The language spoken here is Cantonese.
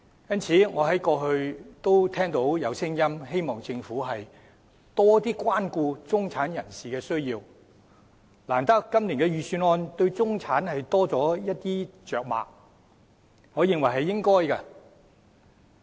因此，過去我聽到有聲音希望政府多關顧中產人士的需要，難得今年的預算案對中產着墨較多，我認為是應該的。